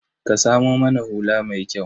Ka samo mana hula mai kyau.